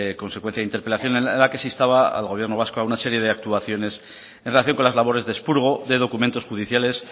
consecuencia de interpelación en la que se instaba al gobierno vasco a una serie de actuaciones en relación con las labores de expurgo de documentos judiciales